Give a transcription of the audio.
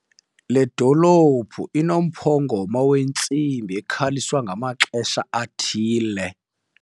Le dolophu inomphongoma wentsimbi ekhaliswa ngamaxesha athile.